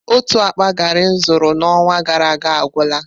Otu akpa gari m zụtara n'ọnwa gara aga agwụla.